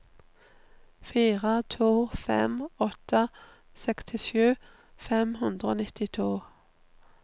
fire to fem åtte sekstisju fem hundre og nittito